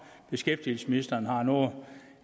beskæftigelsesministeren har noget